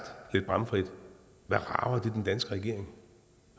lidt bramfrit hvad rager det den danske regering